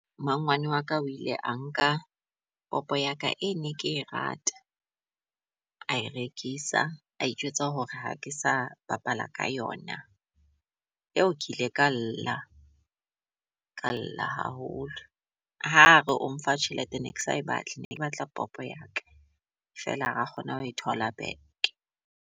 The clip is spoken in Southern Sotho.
Mmangwane wa ka o ile a nka popo ya ka e ne ke rata a e rekisa, a itjwetsa hore ha ke sa bapala ka yona. Eo ke ile ka lla, ka lla haholo. Ha re o mpha tjhelete ne ke sa e batle, ne ke batla popo ya ka fela ha ra kgona ho e thola back.